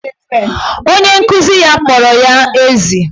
Onye nkuzi ya kpọrọ ya ezi.